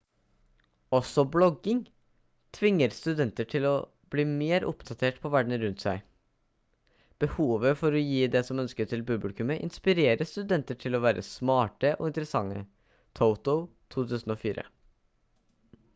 også blogging «tvinger studenter til å bli mer oppdatert på verden rundt seg». behovet for å gi det som ønskes til publikumet inspirerer studenter til å være smarte og interessante toto 2004